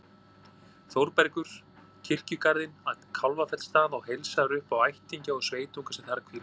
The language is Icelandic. Þórbergur kirkjugarðinn að Kálfafellsstað og heilsar upp á ættingja og sveitunga sem þar hvíla.